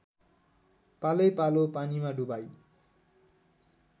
पालैपालो पानीमा डुबाई